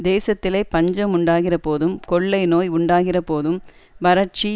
தேசத்திலே பஞ்சம் உண்டாகிறபோதும் கொள்ளைநோய் உண்டாகிறபோதும் வறட்சி